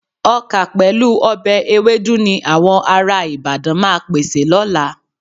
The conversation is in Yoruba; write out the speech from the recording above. Ọkà pẹ̀lú ọbẹ̀ ewédú ni àwọn ará Ìbàdàn máa pèsè lọ́la.